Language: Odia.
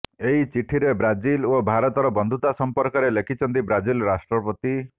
ଏହି ଚିଠିରେ ବ୍ରାଜିଲ ଓ ଭାରତର ବନ୍ଧୁତା ସମ୍ପର୍କରେ ଲେଖିଛନ୍ତି ବ୍ରାଜିଲ ରାଷ୍ଟ୍ରପତି